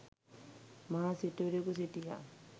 මහා සිටුවරයෙකු සිටියා.